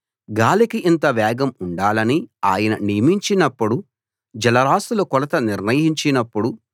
గాలికి ఇంత వేగం ఉండాలని ఆయన నియమించినప్పుడు జలరాసుల కొలత నిర్ణయించినప్పుడు